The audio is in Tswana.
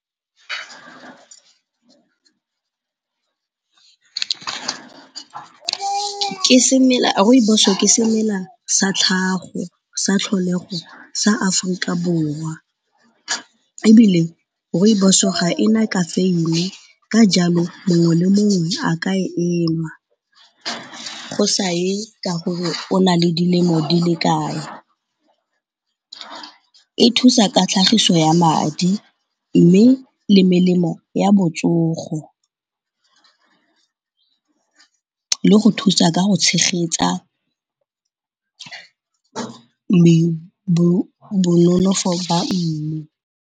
Rooibos-o ke semela sa tlhago, sa tlholego sa Aforika Borwa ebile Rooibos-o ga ena kafeine. Ka jalo mongwe le mongwe a ka e enwa, go sa e ka gore o na le dilemo di le kae. E thusa ka tlhagiso ya madi mme le melemo ya botsogo le go thusa ka go tshegetsa bononofo ba.